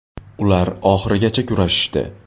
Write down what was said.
Ular oxirigacha kurashishdi.